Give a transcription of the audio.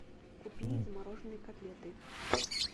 купи замороженные котлеты